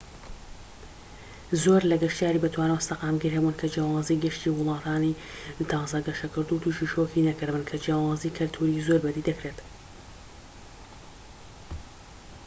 زۆر لە گەشتیاری بەتوانا و سەقامگیر هەبوون کە جیاوازیی گەشتی وڵاتانی تازە گەشەکردوو تووشی شۆکی نەکردبن کە جیاوازیی کەلتوریی زۆر بە دی دەکرێت